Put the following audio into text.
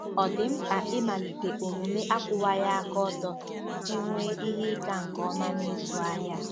Ọ̀ dị mkpa ịmalite omume akwụwaghị aka ọtọ iji nwee ihe ịga nke ọma n'ịzụ ahịa?